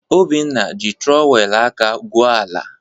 Obinna ji trọwel aka gwuo ala.